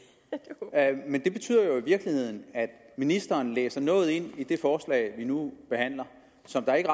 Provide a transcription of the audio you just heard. ja det men det betyder jo i virkeligheden at ministeren læser noget ind i det forslag vi nu behandler som der ikke